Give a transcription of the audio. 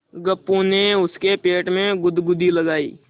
गप्पू ने उसके पेट में गुदगुदी लगायी